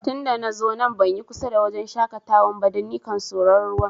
Tun da na zo nan ban yi kusa da wajen shakatawan ba, dan nikan soro'n ruwa.